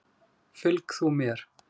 Fylg þú mér.